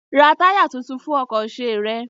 Ra táyà tuntun fún ọkọ̀ ṣe rẹ!